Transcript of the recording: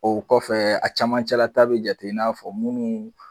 O kɔfɛ a cɛmancɛlata bɛ jate i n'a fɔ minnu